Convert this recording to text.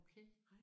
Okay